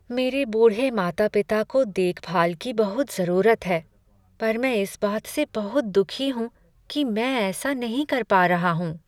मेरे बूढ़े माता पिता को देखभाल की बहुत जरूरत है पर मैं इस बात से बहुत दुखी हूँ कि मैं ऐसा नहीं कर पा रहा हूँ।